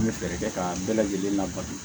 An bɛ fɛɛrɛ kɛ ka bɛɛ lajɛlen labato